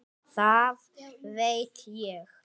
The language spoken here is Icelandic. Það veit ég.